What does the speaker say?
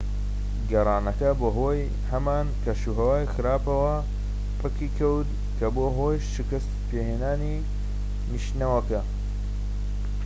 گەڕانەکە بەهۆی هەمان کەشوهەوای خراپەوە پەکی کەوت کە بووە هۆی شکت پێهێنانی نیشتنەوەکە